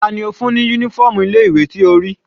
Tani ó fún ní uniform ilé ìwé tí o rí?